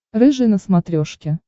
рыжий на смотрешке